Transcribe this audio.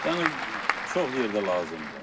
yəni çox yerdə lazımdır.